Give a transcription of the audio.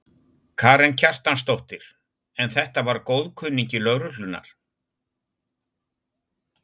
Karen Kjartansdóttir: En þetta var góðkunningi lögreglunnar?